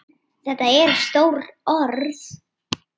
Þetta eru stór orð.